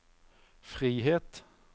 frihet